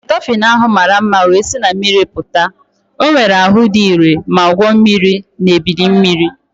Dofin ahụ mara mma wee si na mmiri pụta. O nwere ahụ dị ire ma gwuo mmiri na ebili mmiri.